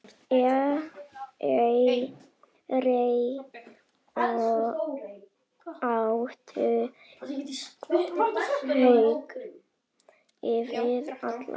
Þeir áttu hug þinn allan.